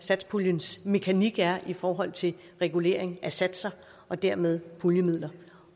satspuljens mekanik er i forhold til regulering af satser og dermed puljemidler